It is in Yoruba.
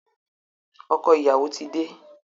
Ọkọ̀ ìyàwó ti dé.